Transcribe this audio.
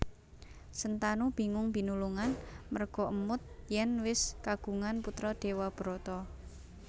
Sentanu bingung binulungan merga émut yèn wis kagungan putra Dewabrata